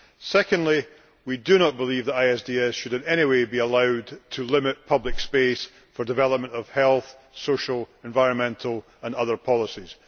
Secondly, we do not believe that ISDS should in any way be allowed to limit public space for development of health, social, environmental and other policies.